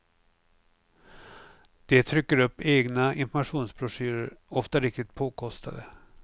De trycker upp egna informationsbroschyrer, ofta riktigt påkostade.